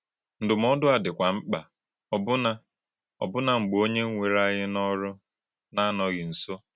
Ndụ́mòdù a dị́kwà mkpa ọ̀bụ́nà ọ̀bụ́nà mgbè ònyé wèrè ányí n’ọ́rụ́ na-anọ̀ghị nso.